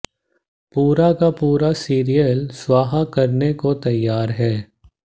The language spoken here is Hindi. पूरा का पूरा सीरियल स्वाहा करने को तैयार हैं